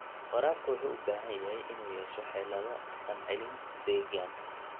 Waraabka wuxuu u baahan yahay inuu yeesho xeelado dhaqancelin deegaan.